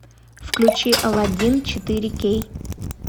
включи аладдин четыре кей